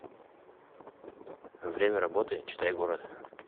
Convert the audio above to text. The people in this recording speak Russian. время работы читай город